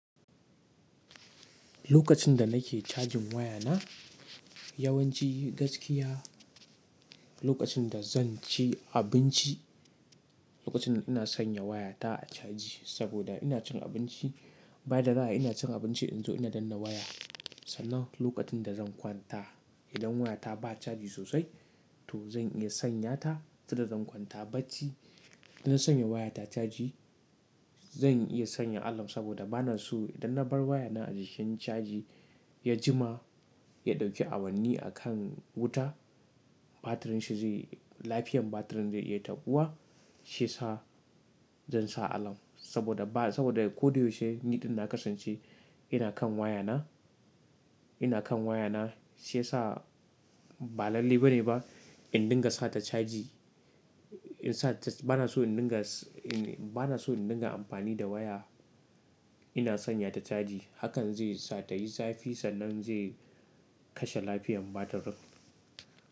Lokacin da nake cajin waya na yawanci gaskiya lokacin da zan ci abinci, lokacin da ina sanya waya ta a caji saboda ina cin abinci. Ba yadda za ai ina cin abinci in zo ina danna waya. Sannan lokacin da zan kwanta idan waya ta ba caji sosai to zan iya sanya ta tunda zan kwanta bacci. Idan na sanya waya ta caji zan iya sanya alam saboda bana so idan na bar waya na a jikin caji ya jima ya ɗauki awanni a kan wuta batirin shi zai lafiyan batirin zai iya taɓuwa shi yasa zan sa alam saboda ba saboda ko dai yaushe niɗin na kasance ina kan waya na, ina kan waya na shi yasa ba lalle bane ba in dinga sa ta caji. In sa bana so in dinga s-- bana so in dinga amfani da waya ina sanya ta caji hakan zai sa ta yi zafi sannan zai kashe lafiyan batirin.